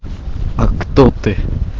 а кто ты